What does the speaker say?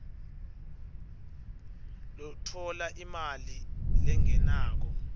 lotfola imali lengenako